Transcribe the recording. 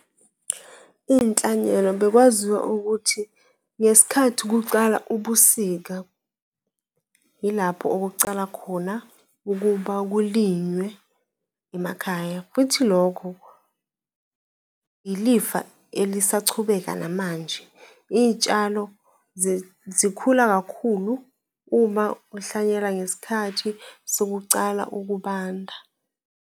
Iy'nhlanyelo, bekwaziwa ukuthi ngesikhathi kucala ubusika, yilapho okokucala khona ukuba kulinywe emakhaya futhi lokho yilifa elisachubeka namanje. Iy'tshalo zikhula kakhulu uma uhlanyelwa ngesikhathi sokucala ukubanda.